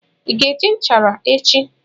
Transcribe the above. Ị ga-eji nchara echi?